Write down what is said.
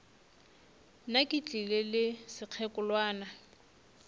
nna ke tlile le sekgekolwana